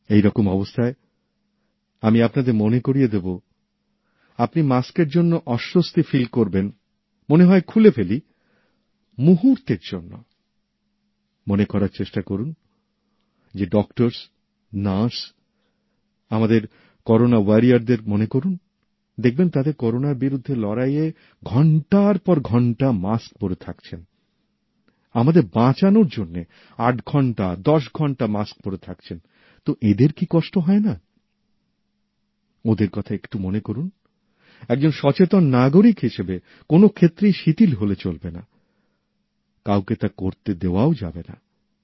এই রকম অবস্থায় আমি আপনাদের মনে করিয়ে দেবো ౼আপনি মাস্কের জন্য অস্বস্তি অনুভব করবেন মনে হবে যে খুলে ফেলি মুহূর্তের জন্য মনে করার চেষ্টা করুন যে চিকিৎসক নার্স౼ আমাদের করোনা যোদ্ধাদের কথা মনে করুন দেখবেন তাঁরা করোনার বিরুদ্ধে লড়াইয়ে ঘন্টার পর ঘন্টা মাস্ক পরে থাকছেন আমাদের বাঁচানোর জন্য ৮ ঘন্টা ১০ ঘন্টা মাস্ক পরে থাকছেন তো এঁদের কি কষ্ট হয় না ওঁদের কথা একটু মনে করুন একজন সচেতন নাগরিক হিসেবে কোনও ক্ষেত্রেই শিথিল হলে চলবে নাকাউকে তা করতে দেওয়াও যাবে না